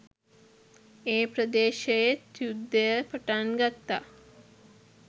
ඒ ප්‍රදේශයෙත් යුද්ධය පටන් ගත්තා